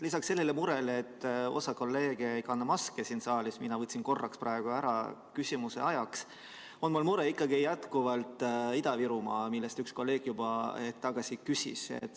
Lisaks sellele murele, et osa kolleege ei kanna siin saalis maski – mina võtsin praegu korraks ära, küsimuse ajaks –, on mul ka mure Ida-Virumaa pärast, mille kohta üks kolleeg hetk tagasi juba küsis.